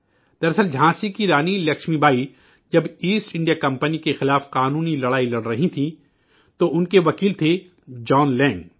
درحقیقت جھانسی کی رانی لکشمی جب بائی ایسٹ انڈیا کمپنی کے خلاف قانونی لڑائی لڑ رہی تھیں تو ان کے وکیل جان لینگ تھے